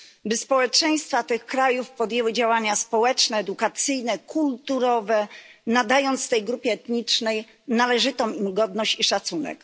by społeczeństwa tych krajów podjęły działania społeczne, edukacyjne, kulturowe, nadając tej grupie etnicznej należytą im godność i szacunek.